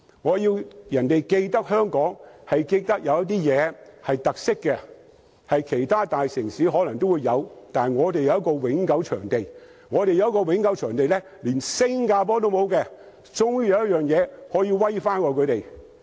我希望別人記得香港，是記得香港的特色事物，這些事物或者其他大城市都有，但我們卻有一個永久場地，而這個永久場地是連新加坡也沒有的，香港終於有一件事比新加坡優勝。